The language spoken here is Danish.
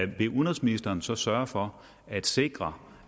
vil udenrigsministeren så sørge for at sikre